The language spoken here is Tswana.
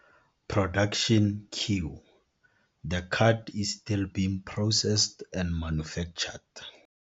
Production queue, The card is still being processed and manufactured.